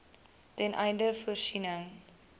ten einde voorsiening